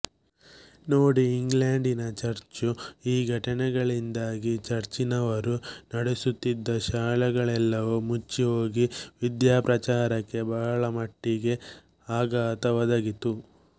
ನೋಡಿ ಇಂಗ್ಲೆಂಡಿನಚರ್ಚುಈ ಘಟನೆಗಳಿಂದಾಗಿ ಚರ್ಚಿನವರು ನಡೆಸುತ್ತಿದ್ದ ಶಾಲೆಗಳೆಲ್ಲವೂ ಮುಚ್ಚಿಹೋಗಿ ವಿದ್ಯಾಪ್ರಚಾರಕ್ಕೆ ಬಹಳಮಟ್ಟಿಗೆ ಆಘಾತ ಒದಗಿತು